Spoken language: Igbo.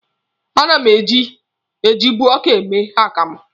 A na m ejibu ọka eme akamụ.